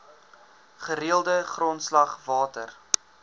gereelde grondslag water